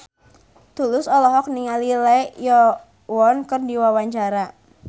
Tulus olohok ningali Lee Yo Won keur diwawancara